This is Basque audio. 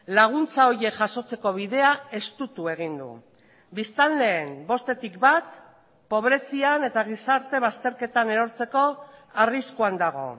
laguntza horiek jasotzeko bidea estutu egin du biztanleen bostetik bat pobrezian eta gizarte bazterketan erortzeko arriskuan dago